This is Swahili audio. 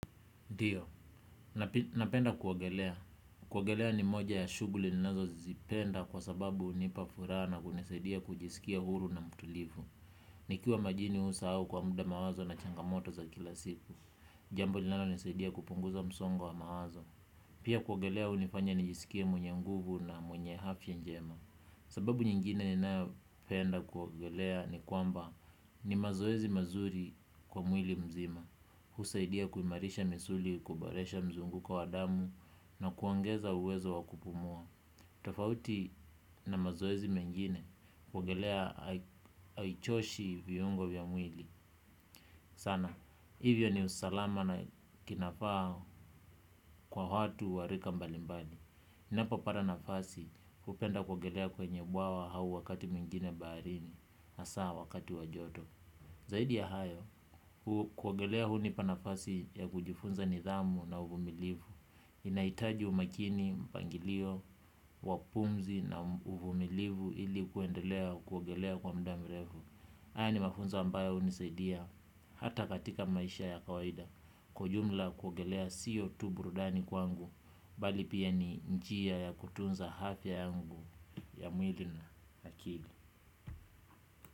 Ndio, napenda kuogelea. Kuogelea ni moja ya shughuli ninazozipenda kwa sababu hunipa furaha na kunisaidia kujisikia huru na mtulivu. Nikiwa majini huwa husahau kwa muda mawazo na changamoto za kila siku. Jambo linalonisaidia kupunguza msongo wa mawazo. Pia kuogelea hunifanya nijisikie mwenye nguvu na mwenye afya njema. Sababu nyingine ninayopenda kuogelea ni kwamba ni mazoezi mazuri kwa mwili mzima. Husaidia kuimarisha misuli kuboresha mzunguko wa damu na kuongeza uwezo wa kupumua. Tofauti na mazoezi mengine kuogelea haichoshi viungo vya mwili sana, hivyo ni usalama na kinafaa kwa watu wa rika mbali mbali. Ninapopata nafasi hupenda kuogelea kwenye bwawa au wakati mwingine baharini hasa wakati wa joto. Zaidi ya hayo, kuogelea hunipa nafasi ya kujifunza nidhamu na uvumilivu. Inahitaji umakini, mpangilio, wa pumzi na uvumilivu ili kuendelea kuogelea kwa muda mrefu. Haya ni mafunzo ambayo hunisaidia hata katika maisha ya kawaida. Kwa ujumla kuogelea sio tu burudani kwangu, bali pia ni njia ya kutunza afya yangu ya mwili na akili.